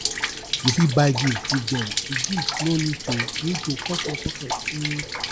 you fit buy gift give them di gift no need to need to cut your pocket um